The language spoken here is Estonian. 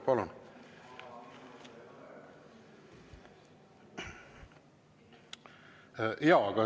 Palun!